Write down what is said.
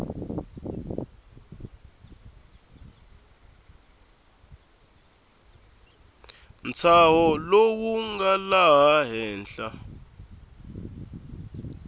ntshaho lowu nga laha henhla